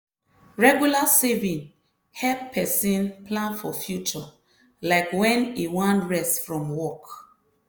regular saving help person plan for future like when e wan rest from work.